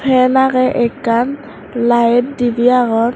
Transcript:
fan agey akkan light debay agon.